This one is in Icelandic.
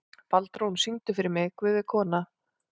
Baldrún, syngdu fyrir mig „Guð er kona“.